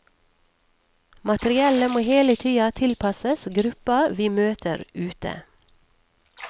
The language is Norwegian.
Materiellet må hele tida tilpasses gruppa vi møter ute.